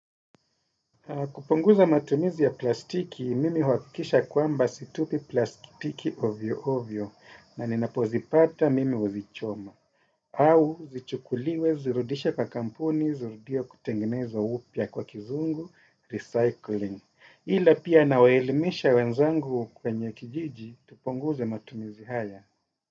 Kupunguza matumizi ya plastiki, mimi huhakikisha kwamba situpi plastiki ovyo ovyo, na ninapozipata mimi huzichoma. Au, zichukuliwe, zirudishwe kwa kampuni, zirudiwe kutengeneza upya kwa kizungu, recycling. Ila pia nawaelimisha wenzangu kwenye kijiji, tupunguze matumizi haya.